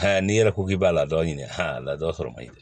n'i yɛrɛ ko k'i b'a la dɔɔni aa ladon sɔrɔ man ɲi